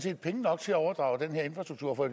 er penge nok til at overdrage den her infrastruktur for